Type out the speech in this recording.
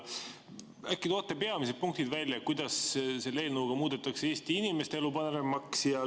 Äkki toote välja peamised punktid, kuidas selle eelnõuga muudetakse Eesti inimeste elu paremaks?